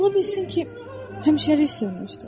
Ola bilsin ki, həmişəlik sönmüşdür.